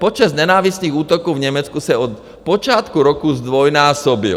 Počet nenávistných útoků v Německu se od počátku roku zdvojnásobil.